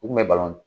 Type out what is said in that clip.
U kun bɛ balon